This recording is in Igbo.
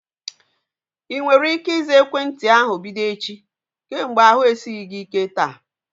Ị nwere ike ịza ekwentị ahu bido echi? Kemgbe ahu esighị gị ike taa